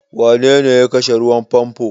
Wanene ya kashe ruwan famfo?